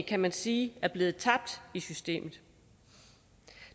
kan man sige er blevet tabt i systemet